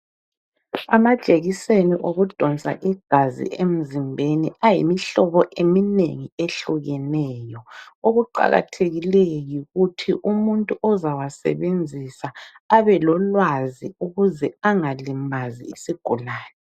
Amajekiseni okudonsa igazi emzimbeni ayimihlobi eminengi ehlukeneyo. Okuqakathekileyo yikuthi umuntu ozawa sebenzisa abe lwazi ukuze angalimazi isigulane.